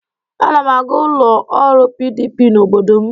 Ana m aga ụlọ ọrụ PDP n'obodo m.